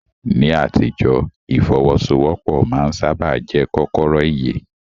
Ní àtijọ́, ìfọ́wọ́sọwọ́pọ̀ máa ń sáábà jẹ́ kọ́kọ́rọ́ ìyè.